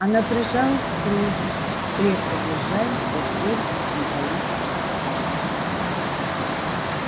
она прижалась к робби крепко держась за твёрдый металлический палец